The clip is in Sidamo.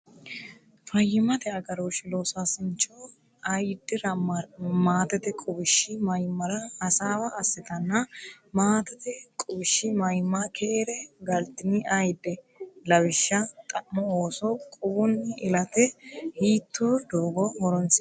Fayyimmate agarooshshi loosaasincho ayiddira Maatete Quwishshi Mayimmare hasaawa assitanna Maatete Quwishshi Mayimma Keere galtini ayidde? Lawishsha Xa’mo Ooso quwunni ilate hiittoo doogo horonsi’nanni?